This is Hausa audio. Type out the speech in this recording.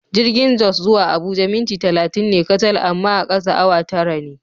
Jirgin Jos zuwa Abuja minti talatin ne kacal amma a kasa awa tara ne.